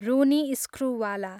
Ronnie Screwvala